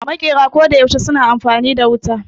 Maƙera koda yaushe suna amfani da wuta